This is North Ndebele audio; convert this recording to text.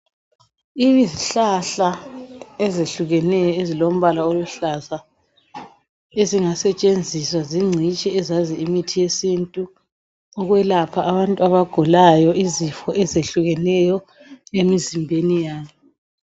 Izihlahla ezehlukeneyo ezilombala oluhlaza ezingasetshenziswa zingcitshi ezazi imithi yesintu ukwelepha abantu abagulayo izifo ezehlukeneyo emizimbeni yabo.